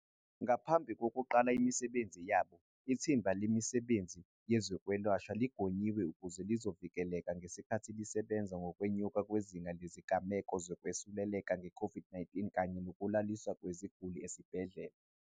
Ngaphambi kokuqala imisebenzi yabo, Ithimba Lomsebenzi Wezokwelashwa ligonyiwe ukuze lizovikeleka ngesikhathi lisebenza ngokwenyuka kwezinga lezigameko zokwesuleleka nge-COVID-19 kanye nokulaliswa kweziguli esibhedlela.